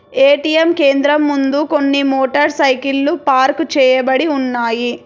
ATM కేంద్రం ముందు కొన్ని మోటార్ సైకిల్లు పార్కు చేయబడి ఉన్నాయి.